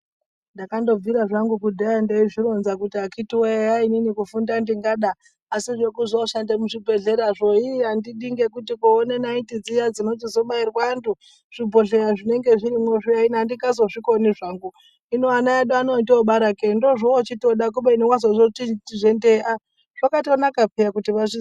Ndakandobvira zvangu kudhaya ndeizvironza kuti akiti wee eya inini kufunda ndingada asi zvekuzooshande muzvibhehleyazvo ini handidi ngekuti kuoone nayiti dziya dzinochizobairwe antu, zvibhohleya zvinenge zvirimwo zviya ini handingazozvikoni zvangu. Hino ana edu otoobara ke-e ndoozvoochitoda, kubeni wazozvitizve nde-e, ah zvakatonaka peya kuti vazvi....